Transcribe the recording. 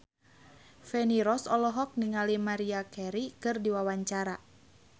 Feni Rose olohok ningali Maria Carey keur diwawancara